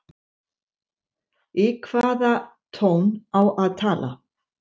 Í hvaða tón á hann að tala?